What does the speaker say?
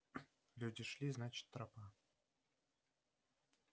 люди шли значит тропа